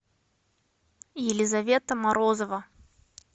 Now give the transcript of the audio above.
елизавета морозова